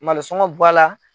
Malosɔngɔ b'a la.